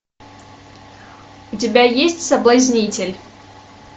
у тебя есть соблазнитель